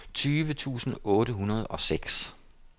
tyve tusind otte hundrede og seks